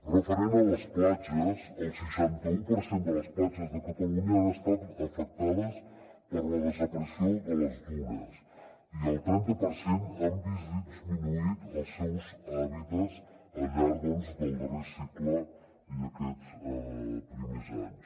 referent a les platges el seixanta u per cent de les platges de catalunya han estat afectades per la desaparició de les dunes i el trenta per cent han vist disminuïts els seus hàbitats al llarg del darrer segle i aquests primers anys